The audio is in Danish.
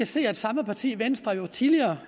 se at samme parti venstre jo tidligere